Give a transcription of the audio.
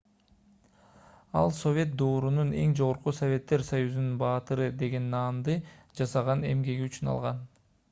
ал совет доорунун эң жогорку советтер союзунун баатыры деген наамды жасаган эмгеги үчүн алган